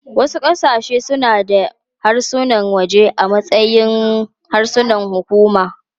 Wasu ƙasashe suna da harsunan waje a matsayin harsunan hukuma.